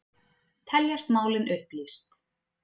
Teljast málin upplýst